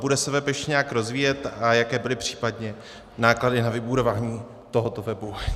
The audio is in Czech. Bude se web ještě nějak rozvíjet a jaké byly případně náklady na vybudování tohoto webu?